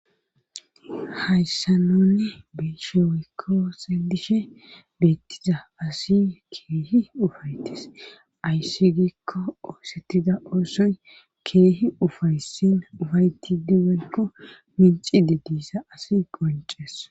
Hayssa nunne beshewykko sedishe beettiza asi keehi ufaytis ayssi gikko oosettida oosoy keehi ufaysin ufayti diwenko minci de diissa asi qonces.